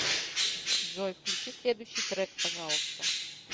джой включи следующий трек пожалуйста